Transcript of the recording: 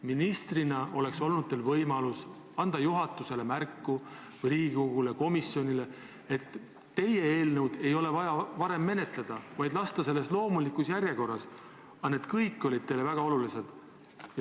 Ministrina oleks olnud teil võimalus anda märku juhatusele või Riigikogu komisjonile, et teie eelnõu ei ole vaja varem menetleda, vaid teha selles loomulikus järjekorras, aga see kõik oli teile väga oluline.